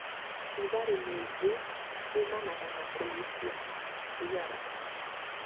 Rũgarĩ mwĩingĩ ũmanaga na kũgucia thigara.